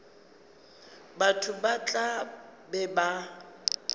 batho ba tla be ba